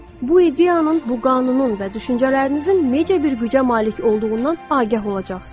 Bu ideyanın, bu qanunun və düşüncələrinizin necə bir gücə malik olduğundan agah olacaqsınız.